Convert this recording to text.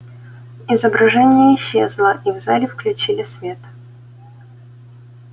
изображение исчезло и в зале включили свет